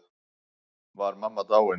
Var mamma dáin?